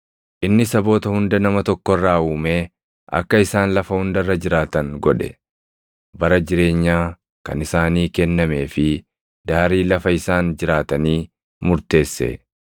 Inni saboota hunda nama tokko irraa uumee akka isaan lafa hunda irra jiraatan godhe; bara jireenyaa kan isaanii kennamee fi daarii lafa isaan jiraatanii murteesse.